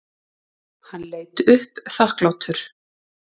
Hann leit upp þakklátur.